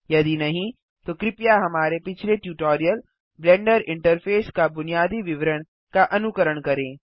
यदि नहीं तो कृपया हमारे पिछले ट्यूटोरियल ब्लेंडर इंटरफेस का बुनियादी विवरण का अनुकरण करें